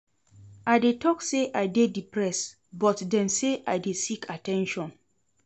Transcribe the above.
I dey tok sey I dey depressed but dem say I dey seek at ten tion.